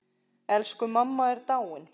Elsku mamma er dáin.